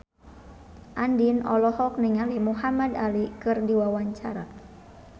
Andien olohok ningali Muhamad Ali keur diwawancara